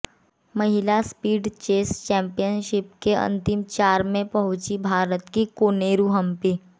महिला speed chess championship के अंतिम चार में पहुंची भारत की कोनेरू हंपी